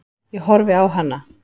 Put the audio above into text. Ég horfi á hana.